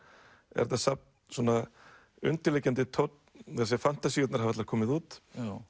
er þetta safn svona undirliggjandi tónn fantasíurnar hafa allar komið út